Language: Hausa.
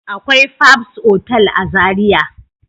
Akwai fabs otal a zaria